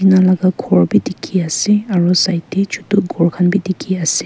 tina laga gour bhi dekhi ase aru side te chotu gour khan bhi dekhi ase.